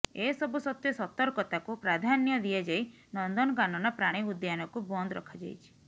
ଏସବୁ ସତ୍ତ୍ୱେ ସତର୍କତାକୁ ପ୍ରାଧାନ୍ୟ ଦିଆଯାଇ ନନ୍ଦନକାନନ ପ୍ରାଣୀ ଉଦ୍ୟାନକୁ ବନ୍ଦ ରଖାଯାଇଛି